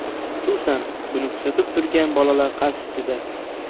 Xususan, buni kuzatib turgan bolalar qarshisida.